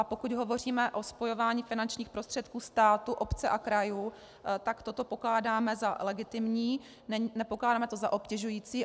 A pokud hovoříme o spojování finančních prostředků státu, obce a krajů, tak toto pokládáme za legitimní, nepokládáme to za obtěžující.